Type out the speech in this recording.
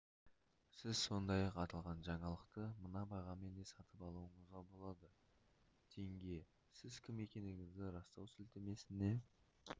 сіз сондай-ақ аталған жаңалықты мына бағамен де сатып алуыңызға болады тенге сіз кім екендігіңізді растау сілтемесіне